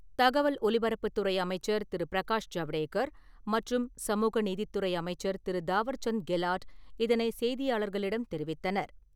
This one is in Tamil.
தகவல் ஒலிபரப்புத் துறை அமைச்சர் திரு. பிரகாஷ் ஜவ்டேகர் மற்றும் சமூக நீதித்துறை அமைச்சர் திரு. தாவர்சந்த் கெலாட் இதனைச் செய்தியாளர்களிடம் தெரிவித்தனர்.